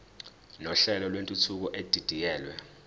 nohlelo lwentuthuko edidiyelwe